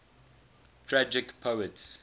tragic poets